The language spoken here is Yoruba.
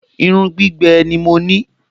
Irun gbígbẹ ni mo ní